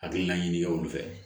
Hakilina ɲini kɛ olu fɛ